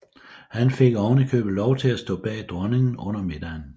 Han fik oven i købet lov til at stå bag dronningen under middagen